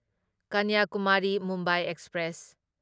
Kanyakumari Mumbai express